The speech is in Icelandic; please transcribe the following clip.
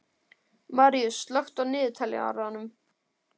Maríus, slökktu á niðurteljaranum.